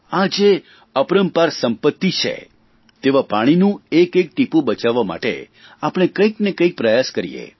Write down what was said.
આ જે અપરંપાર સંપત્તિ છે તેવા પાણીનું એક એક ટીપું બચાવવા માટે આપણે કંઇકને કંઇક પ્રયાસ કરીએ